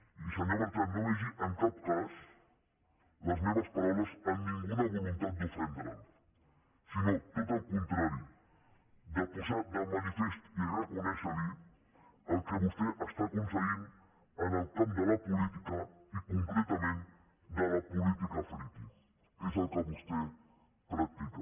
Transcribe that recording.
i senyor bertran no vegi en cap cas les meves paraules amb cap voluntat d’ofendre’l sinó tot el contrari de posar de manifest i reconèixer li el que vostè està aconseguint en el camp de la política i concretament de la política freaky que és el que vostè practica